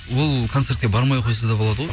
ол концертке бармай ақ қойса да болады ғой